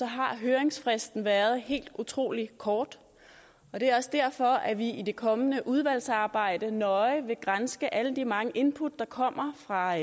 har høringsfristen været helt utrolig kort det er også derfor at vi i det kommende udvalgsarbejde nøje vil granske alle de mange input der kommer fra